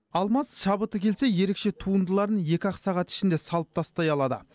алмаз шабыты келсе ерекше туындыларын екі ақ сағат ішінде салып тастай алады